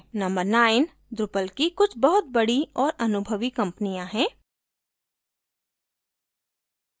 number 9: drupal की कुछ बहुत बड़ी और अनुभवी कम्पनियाँ हैं